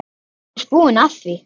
Hann er búinn að því.